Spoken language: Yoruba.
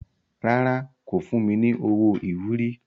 Rárá, kò fún mi ní owó ìwúrí.